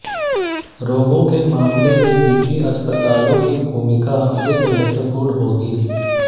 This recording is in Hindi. रोगों के मामले में निजी अस्पतालों की भूमिका अधिक महत्वपूर्ण होगी